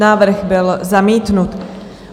Návrh byl zamítnut.